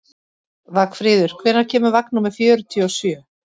Vagnfríður, hvenær kemur vagn númer fjörutíu og sjö?